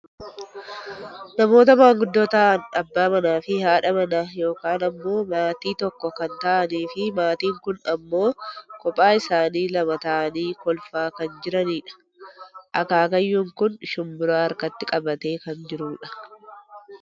Namoota maanguddoo ta'an abbaa manaa fi haadha manaa yookaan ammoo maatii tokko kan ta'aniifi maatiin kun ammoo kophaa isaanii lama ta'anii kolfaa kan jiranidha. Akaakayyuun kun shumburaa harkatti qabatee kan jirudha.